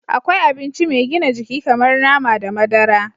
Akwai abinci mai gina jiki kamar nama da madara